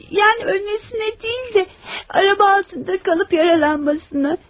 Yəni ölməsinə deyil də, araba altında qalıb yaralanmasına.